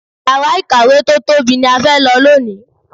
Yàrá ìkàwé tí ó tóbi ni a fẹ́ lò lónìí.